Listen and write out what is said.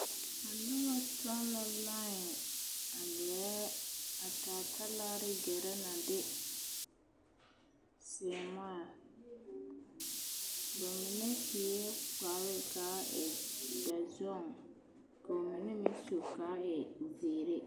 A noba tɔŋ la laē a gɛrɛ, a taa talaare gɛrɛ na de seemaa bamine sue kpare k'a e dɔzɔŋ k'o mine meŋ su k'a e zeere.